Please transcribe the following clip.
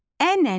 Ənənə